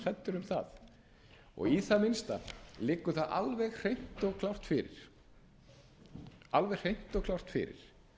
hræddur um það í það minnsta liggur það alveg hreint og klárt fyrir